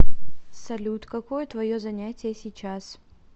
салют какое твое занятие сейчас